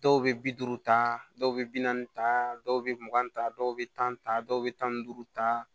Dɔw bɛ bi duuru ta dɔw bɛ bi naani ta dɔw bɛ mugan ta dɔw bɛ tan dɔw bɛ tan ni duuru ta